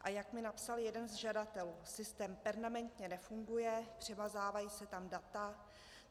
A jak mi napsal jeden z žadatelů, systém permanentně nefunguje, přemazávají se tam data.